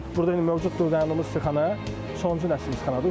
Məsələn, burda indi mövcuddur, dayandığımız istixana, sonuncu nəsil istixanadır.